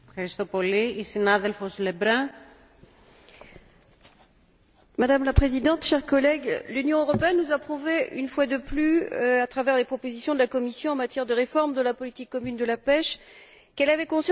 Madame la Présidente, chers collègues, l'Union européenne nous a prouvé, une fois de plus, à travers les propositions de la Commission en matière de réforme de la politique commune de la pêche, qu'elle avait conscience de l'importance de reconstituer les stocks halieutiques dont l'avenir de nos pêcheurs dépend.